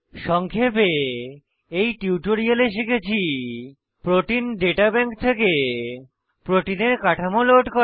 সংক্ষেপে এই টিউটোরিয়ালে শিখেছি প্রোটিন দাতা ব্যাংক থেকে প্রোটিনের কাঠামো লোড করা